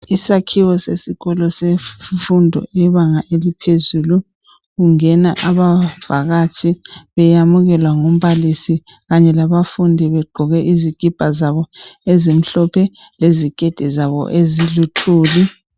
Isakhiwo sesikolo semfundo yebanga eliphezulu kungena abavakatshi beyamukelwa ngumbalisi kanye labafundi begqoke izikipa zabo ezimhlophe leziketi zabo eziluthuli.